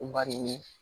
Bari